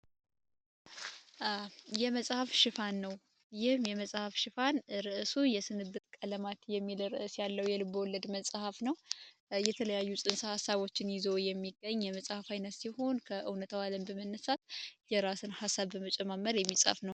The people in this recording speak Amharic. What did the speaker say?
የመሀፍ ሽፋን ነው። ይህም የመጽሃፍ ሽፋን ርዕሱ የስንት ቀለማት የሚደረስ ያለው የልብ ወለድ መጽሐፍ ነው። የተለያዩ ሀሳቦችን ይዞ የሚገኝ የመጽሐፍ አይነስ ይሆን ከእውነት የራስን ሀሳብ በመጨመር የሚፃፍ ነው።